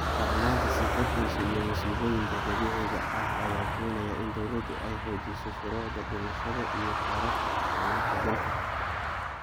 Darnaanta sii kordheysa ee masiibooyinka dabiiciga ah ayaa keenaya in dowladdu ay xoojiso shuruucda dhismaha iyo xeerarka isticmaalka dhulka.